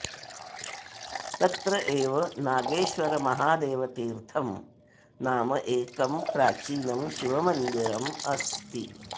तत्र एव नागेश्वरमहादेवतीर्थं नाम एकं प्राचीनं शिवमन्दिरम् अस्ति